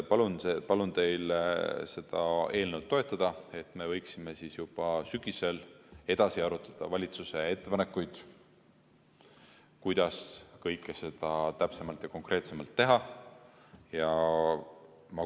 Nii et palun teil seda eelnõu toetada, et me võiksime juba sügisel edasi arutada valitsuse ettepanekuid, kuidas kõike seda täpsemalt ja konkreetsemalt teha.